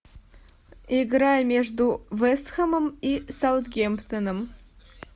игра между вест хэмом и саутгемптоном